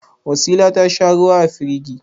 Wasila ta sha ruwa a firigi.